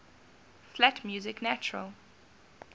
flat music natural